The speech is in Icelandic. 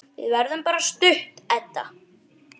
Við verðum bara stutt, Edda.